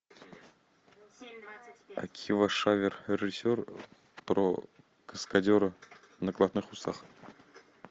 акива шаффер режиссер про каскадера в накладных усах